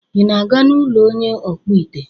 Ị na-aga n'ụlọ onye ọkpụite?